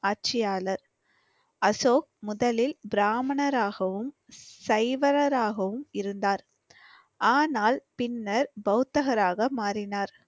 ஆட்சியாளர். அசோக் முதலில் பிராமணராகவும், சைவராகவும் இருந்தார். ஆனால் பின்னர் பௌத்தராக மாறினார்.